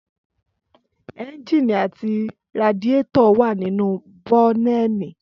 Ẹ́ńjìnì àti radiétọ̀ wà nínú bọ́nẹ́ẹ̀nì